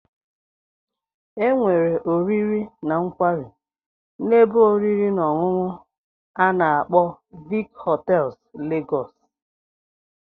Enwere oriri na nkwari na ebe oriri na onunu ana agbo Vic hotels Lagos.